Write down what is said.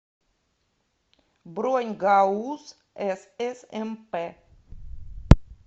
бронь гауз ссмп